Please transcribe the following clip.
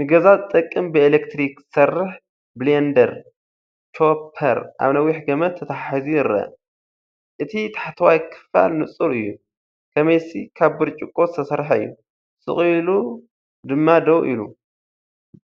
ንገዛ ዝጠቅም ብኤሌክትሪክ ዝሰርሕ ብሌንደር/ቾፐር ኣብ ነዊሕ ገመድ ተተሓሒዙ ይረአ። እቲ ታሕተዋይ ክፋል ንጹር እዩ፣ ከመይሲ ካብ ብርጭቆ ዝተሰርሐ እዩ፣ ስቕ ኢሉ ድማ ደው ኢሉ፣